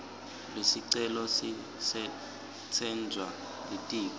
lesicelo sisetjentwa litiko